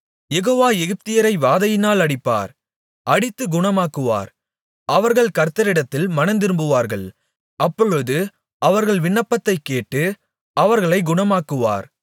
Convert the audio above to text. யெகோவா எகிப்தியரை வாதையினால் அடிப்பார் அடித்து குணமாக்குவார் அவர்கள் கர்த்தரிடத்தில் மனந்திரும்புவார்கள் அப்பொழுது அவர்கள் விண்ணப்பத்தைக் கேட்டு அவர்களைக் குணமாக்குவார்